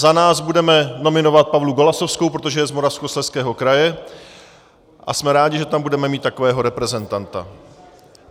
Za nás budeme nominovat Pavlu Golasowskou, protože je z Moravskoslezského kraje a jsme rádi, že tam budeme mít takového reprezentanta.